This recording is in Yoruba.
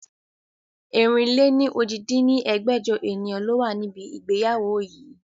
ẹ̀rin-lé-ní-ojì dín ní ẹgbẹ́jọ ènìyàn ló wà níbi ìgbéyàwó yii